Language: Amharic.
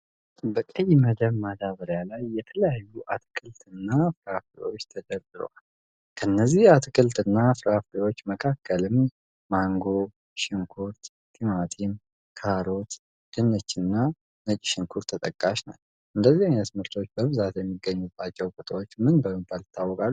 በቀይ መደብ ማዳበሪያ ላይ የተለያዩ አትክልት እና ፍራፍሬዎች ተደርድረዋል። ከነዚህ አትክልት እና ፍራፍሬዎች መካከልም ማንጎ፣ ሽንኩርት፣ ቲማቲም፣ ካሮት፣ ድንች እና ነጭ ሽንኩር ተጠቃሽ ናቸው። እንደዚ አይነት ምርቶች በብዛት የሚገኙባቸው ቦታዎች ምን በመባል ይታወቃሉ?